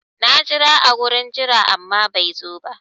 Na jira a gurin jira amma bai zo ba.